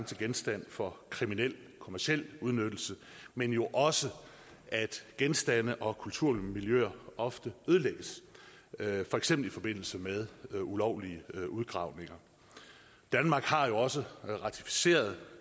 til genstand for kriminel kommerciel udnyttelse men jo også at genstande og kulturmiljøer ofte ødelægges for eksempel i forbindelse med med ulovlige udgravninger danmark har jo også ratificeret